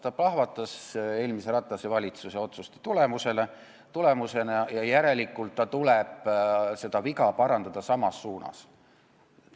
Ta lahvatas Ratase eelmise valitsuse otsuste tagajärjel ja järelikult tuleb seda viga parandada sellest lähtudes.